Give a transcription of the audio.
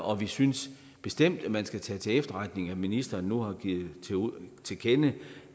og vi synes bestemt at man skal tage til efterretning at ministeren nu har givet til kende